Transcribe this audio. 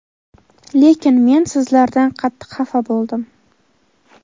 lekin men sizlardan qattiq xafa bo‘ldim.